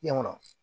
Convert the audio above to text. Ɲɛ kɔnɔ